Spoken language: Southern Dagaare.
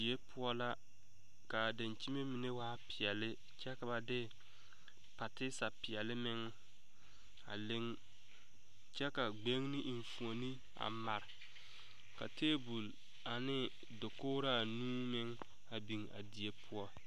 Die poɔ la kaa daŋkyime mine waa boŋ peɛle kyɛ ka ba de patisa meŋ a leŋ kyɛ la gbagni eŋfuoni a pare ka tabol ane dakograa nuu meŋ a biŋ a die poɔ.